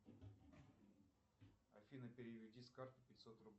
афина переведи с карты пятьсот рублей